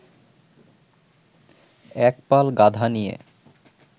এক পাল গাধা নিয়ে